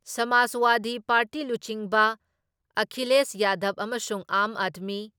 ꯁꯃꯥꯖꯋꯥꯗꯤ party ꯂꯨꯆꯤꯡꯕ ꯑꯈꯤꯂꯦꯁ ꯌꯥꯗꯕ ꯑꯃꯁꯨꯡ ꯑꯥꯝ ꯑꯗꯃꯤ